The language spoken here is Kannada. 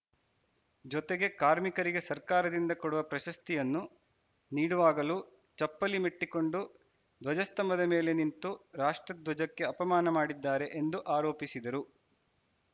ಜೊತೆಗೆ ಕಾರ್ಮಿಕರಿಗೆ ಸರ್ಕಾರದಿಂದ ಕೊಡುವ ಪ್ರಶಸ್ತಿಯನ್ನು ನೀಡುವಾಗಲೂ ಚಪ್ಪಲಿ ಮೆಟ್ಟಿಕೊಂಡು ಧ್ವಜಸ್ತಂಭದ ಮೇಲೆ ನಿಂತು ರಾಷ್ಟ್ರಧ್ವಜಕ್ಕೆ ಅಪಮಾನ ಮಾಡಿದ್ದಾರೆ ಎಂದು ಆರೋಪಿಸಿದರು